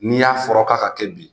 N'i y'a fɔra k'a ka kɛ bi